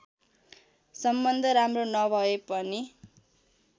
सम्बन्ध राम्रो नभए पनि